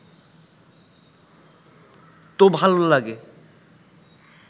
তো ভালো লাগে